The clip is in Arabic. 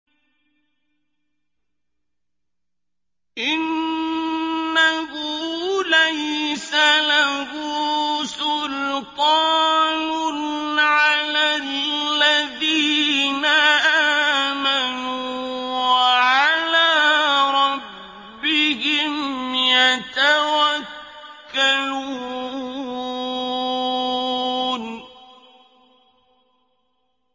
إِنَّهُ لَيْسَ لَهُ سُلْطَانٌ عَلَى الَّذِينَ آمَنُوا وَعَلَىٰ رَبِّهِمْ يَتَوَكَّلُونَ